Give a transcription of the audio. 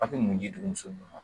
Aw ti mun ye denmuso ma ?